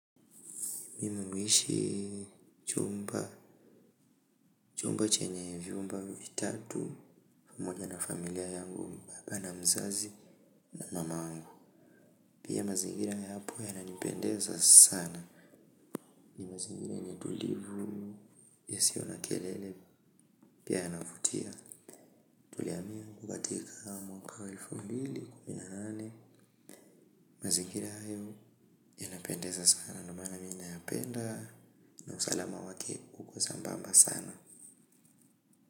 Mimi huishi chumba chumba chenye vivo ambavyo vitatu pamoja na familia yangu baba na mzazi na mamangu pia mazingira ya hapo yananipendeza sana ni mazingira yenye utulivu ya siyo na kelele pia yanavutia tulihamia katika mwaka wa elfu mbili mazingira hayo yanapendeza sana ndo maana mi nayapenda na usalama wake uko sambamba sana.